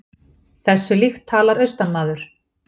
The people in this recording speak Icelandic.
Þessu líkt talar austanmaður.